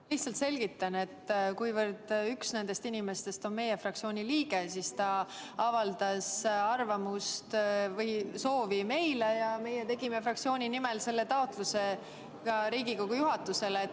Ma lihtsalt selgitan, et kuna üks nendest inimestest on meie fraktsiooni liige, siis ta avaldas oma soovi meile ja meie esitasime fraktsiooni nimel taotluse Riigikogu juhatusele.